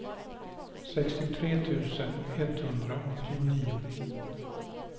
sextiotre tusen etthundraåttionio